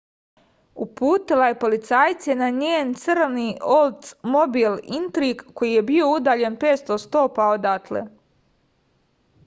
uputila je policajce na njen crni oldsmobil intrig koji je bio udaljen 500 stopa odatle